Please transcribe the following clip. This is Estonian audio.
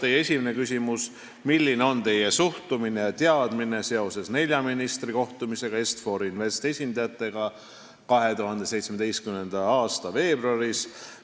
Teie esimene küsimus: "Milline on Teie suhtumine ja teadmine seoses nelja ministri kohtumisega Est-For Investi esindajatega 2017. aasta veebruaris?